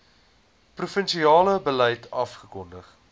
provinsiale beleid afgekondig